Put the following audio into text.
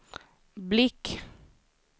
blick